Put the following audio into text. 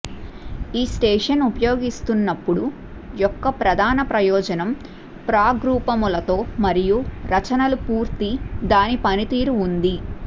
ఈ స్టేషన్ ఉపయోగిస్తున్నప్పుడు యొక్క ప్రధాన ప్రయోజనం ప్రాగ్రూపములతో మరియు రచనలు పూర్తి దాని పనితీరు ఉంది